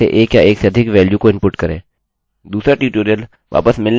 दूसरा ट्यूटोरियल वापस मिलने वाले मानों पर यानि रिटर्निंग वेल्यूज़ पर होगा